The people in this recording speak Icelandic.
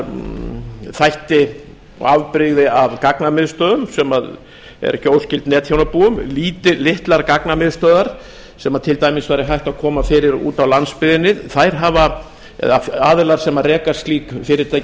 þætti og afbrigði af gagnamiðstöðvum sem er ekki óskyld netþjónabúum litlar gagnamiðstöðvar sem til dæmis væri hægt að koma fyrir úti á landsbyggðinni aðilar sem reka slík fyrirtæki